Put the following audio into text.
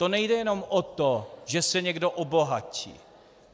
To nejde jenom o to, že se někdo obohatí.